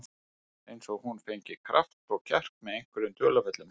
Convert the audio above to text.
Eins og hún fengi kraft og kjark með einhverjum dularfullum hætti.